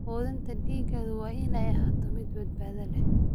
Quudinta digaagu waa inay ahaato mid badbaado leh.